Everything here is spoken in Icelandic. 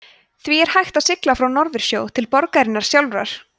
því er hægt að sigla frá norðursjó til borgarinnar sjálfrar